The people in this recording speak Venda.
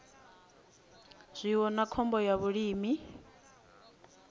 zwiwo na khombo ya vhulimi